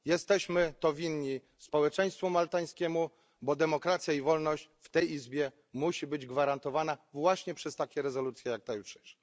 Jesteśmy to winni społeczeństwu maltańskiemu, bo demokracja i wolność w tej Izbie musi być gwarantowana właśnie przez takie rezolucje, jak ta jutrzejsza.